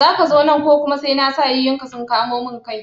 Zaka zo nan ko kuma sai na sa yayunka sun kamo mun kai?